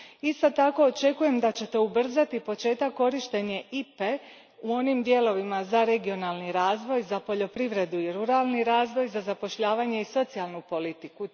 Isto tako očekujem da ćete ubrzati početak korištenja IPA e u onim dijelovima za regionalni razvoj, za poljoprivredu i ruralni razvoj, za zapošljavanje i socijalnu politiku.